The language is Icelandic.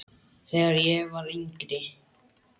Þegar ég var yngri.